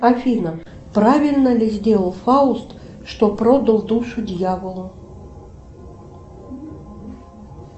афина правильно ли сделал фауст что продал душу дьяволу